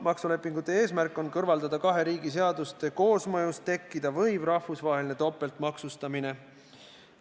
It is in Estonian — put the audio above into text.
Maksulepingute eesmärk on kõrvaldada kahe riigi seaduste koosmõjus tekkida võiv rahvusvaheline topeltmaksustamine.